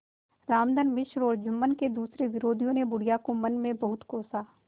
रामधन मिश्र और जुम्मन के दूसरे विरोधियों ने बुढ़िया को मन में बहुत कोसा